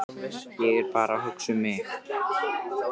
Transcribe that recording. Ég er bara að hugsa mig um.